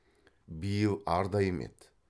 биыл арда емеді